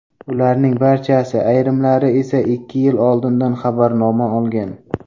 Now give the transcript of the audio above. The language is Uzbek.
Ularning barchasi, ayrimlari esa ikki yil oldindan xabarnoma olgan.